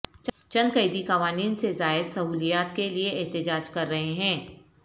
چند قیدی قوانین سے زائد سہولیات کے لیے احتجاج کر رہے ہیں